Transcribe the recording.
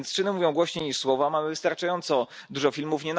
Więc czyny mówią głośniej niż słowa, mamy wystarczająco dużo filmów.